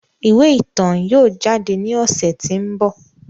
Iwe itan yóò jade ni ọsẹ ti n bọ.